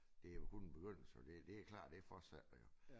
Det jo kun en begyndelse det det klart det fortsætter jo